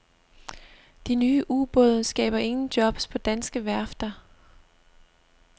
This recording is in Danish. De nye ubåde skaber ingen jobs på danske værfter.